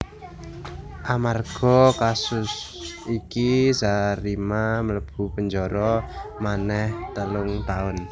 Amarga kasus iki Zarima mlebu penjara manéh telung taun